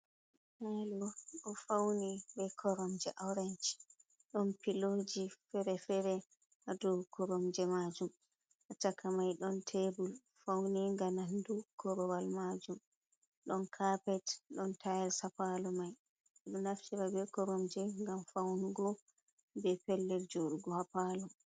Palo ɗo fauni be koromje orench. Ɗon filoji fere-fere hado koromje majum. Ha chaka mai ɗon tebul fauninga nandu korowal majum. Ɗon kapet ɗon tayels ha palo mai. Ɓe ɗo naftira be koromje gam faunugo be pellel joɗugo ha palo.